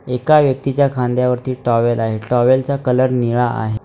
एका व्यक्तीच्या खांद्यावरती टॉवेल आहे टॉवेलचा कलर निळा आहे.